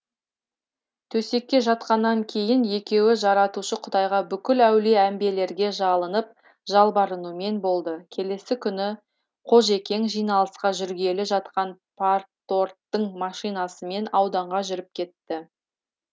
төсекке жатқаннан кейін де екеуі жаратушы құдайға бүкіл әулие әмбелерге жалынып жалбарынумен болды келесі күні қожекең жиналысқа жүргелі жатқан парторгтың машинасымен ауданға жүріп кетті